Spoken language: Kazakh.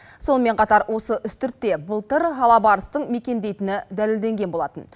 сонымен қатар осы үстіртте былтыр алабарыстың мекендейтіні дәлелденген болатын